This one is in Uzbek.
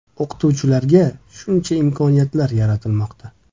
O‘qituvchilarga shuncha imkoniyatlar yaratilmoqda.